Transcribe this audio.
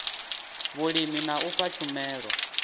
vhulimi na u fha tshumelo